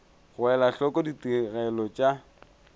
go ela hloko ditigelo tša